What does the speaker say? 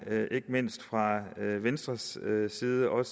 ikke mindst fra venstres side og